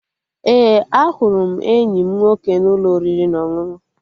Ee, ahụrụ m enyi m nwoke n'ụlọ oriri na ọṅụṅụ